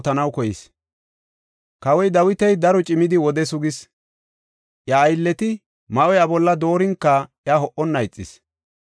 Kawoy Dawiti daro cimidi wode sugis. Iya aylleti ma7o iya bolla doorinka iya ho77onna ixis.